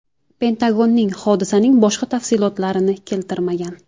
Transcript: Pentagonning hodisaning boshqa tafsilotlarini keltirmagan.